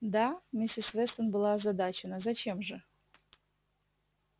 да миссис вестон была озадачена зачем же